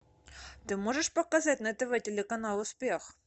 ты можешь показать на тв телеканал успех